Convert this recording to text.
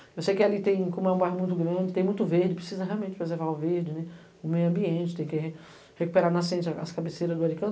Eu sei que ali tem, como é um bairro muito grande, tem muito verde, precisa realmente preservar o verde, o meio ambiente, tem que recuperar nascentes, as cabeceiras do Aricanuva.